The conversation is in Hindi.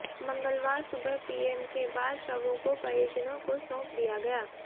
मंगलवार सुबह पीएम के बाद शवों को परिजनों को सौंप दिया गया